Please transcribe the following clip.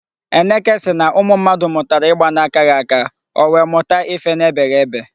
Eneke sị na ụmụ mmadụ mụtara ịgba na-akaghị aka, o wee mụta ife na-ebeghị ebe.